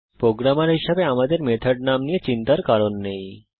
programmer হিসাবে আমাদের method নাম নিয়ে চিন্তার কারণ নেই